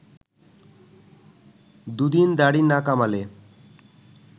দুদিন দাড়ি না কামালে